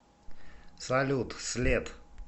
салют след